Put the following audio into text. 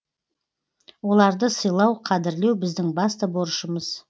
оларды сыйлау қадірлеу біздің басты борышымыз